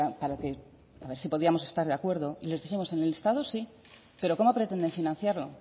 para ver si podríamos estar de acuerdo y les dijimos en el listado sí pero cómo pretenden financiarlo